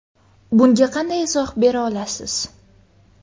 Bunga qanday izoh bera olasiz?